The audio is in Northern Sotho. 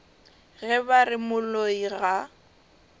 ge ba re moloi ga